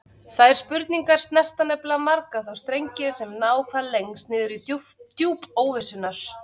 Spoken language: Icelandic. Þær spurningar snerta nefnilega marga þá strengi sem ná hvað lengst niður í djúp óvissunnar.